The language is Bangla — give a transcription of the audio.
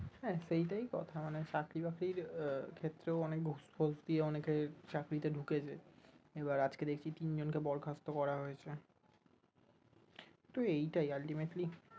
হ্যাঁ সেই টাই কথা মানে চাকরি বাকরির আহ ক্ষেত্রেও source অনেকের চাকরিতে ঢুকেছে, এবার আজকে দেখছি তিনজনকে বরখাস্ত করা হয়েছে তো এইটাই ultimately